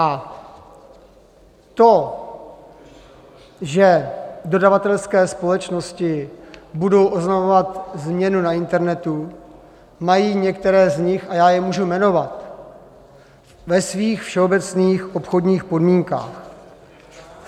A to, že dodavatelské společnosti budou oznamovat změnu na internetu, mají některé z nich, a já je můžu jmenovat, ve svých všeobecných obchodních podmínkách.